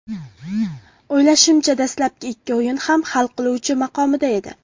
O‘ylashimcha, dastlabki ikki o‘yin ham hal qiluvchi maqomida edi.